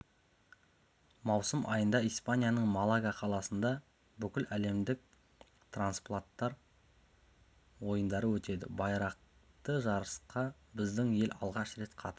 маусым айында испанияның малага қаласында бүкіләлемдік транспланттар ойындары өтеді байрақты жарысқа біздің ел алғаш рет қатысады